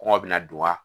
Kɔngɔ bɛna don wa